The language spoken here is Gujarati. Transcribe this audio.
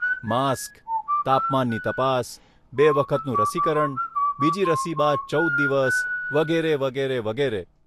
માસ્ક, તાપમાનની તપાસ, બે વખતનું રસીકરણ, બીજી રસી બાદ ચૌદ દિવસ, વગેરે, વગેરે, વગેરે.